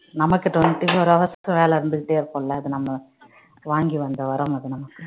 நமக்கு twenty-four hours க்கு வேல இருந்துகிட்டே இருக்கும்ல அத நம்ம வாங்கி வந்த வரம் அது நமக்கு